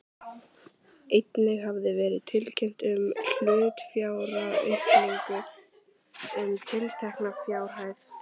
Einnig hafði verið tilkynnt um hlutafjáraukningu um tiltekna fjárhæð.